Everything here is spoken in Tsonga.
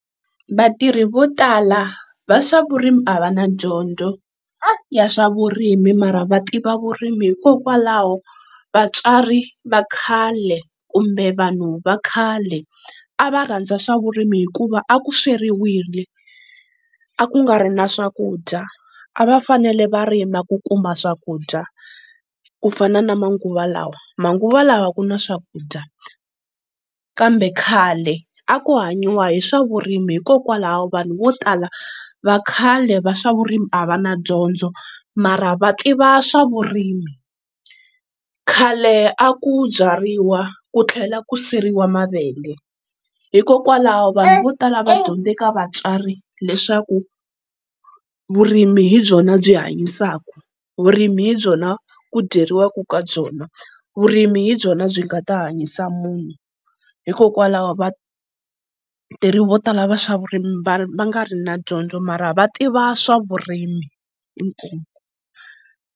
Vatirhi vo tala va swavurimi a va na dyondzo ya swa vurimi mara va tiva vurimi hikokwalaho vatswari vakhale kumbe vanhu vakhale a va rhandza swa vurimi hikuva aku sweriwile a ku nga ri na swakudya a va fanele va rima ku kuma swakudya ku fana na manguva lawa, manguva lawa ku na swakudya kambe khale a ku hanyiwa hi swa vurimi hikokwalaho vanhu vo tala vakhale va swa vurimi a va na dyondzo mara va tiva swa vurimi. Khale a ku byariwa ku tlhela ku siriwa mavele hikokwalaho vanhu vo tala va dyondze ka vatswari leswaku vurimi hi byona byi hanyisaka, vurimi hi byona ku dyeriwaka ka byona, vurimi hi byona byi nga ta hanyisa munhu hikokwalaho va tirhi vo tala va swa vurimi va nga ri na dyondzo mara va tiva swa vurimi